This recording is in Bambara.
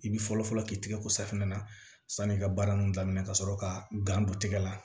I bi fɔlɔfɔlɔ k'i tɛgɛ ko safunɛ na san'i ka baara nun daminɛ ka sɔrɔ ka gan don tigɛ la